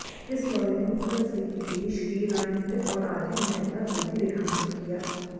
इस दौरे ने उत्तर अफ्रीकी देश की रणनीतिक और आर्थिक महत्ता को भी रेखांकित किया